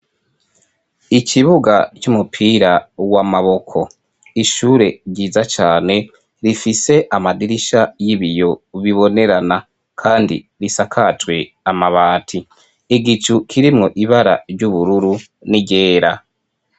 Ikibuga c'umupira w'amaboko, ishure ryiza cane rifise amadirisha y'ibiyo bibonerana kandi risakajwe amabati, igicu kirimwo ibara ry'ubururu n'iryera.